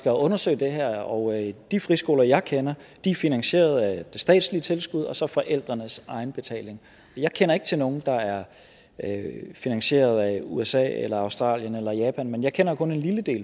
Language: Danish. at undersøge det her og de friskoler jeg kender er finansieret af det statslige tilskud og så forældrenes egenbetaling jeg kender ikke til nogen der er finansieret af usa eller australien eller japan men jeg kender kun en lille del